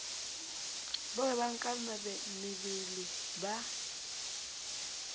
ba hwebang ka mebele ba